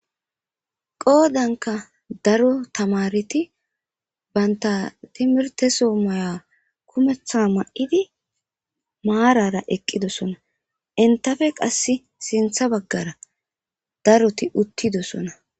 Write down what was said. Qodamka daro tamareti banta timirte so mayua kumeta mayidi marara eqidosona entappe qasi sinta bagara daroti utidosona.